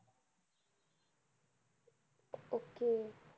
okay